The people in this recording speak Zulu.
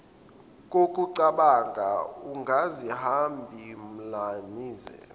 kokucabanga ungazibambi mlimaze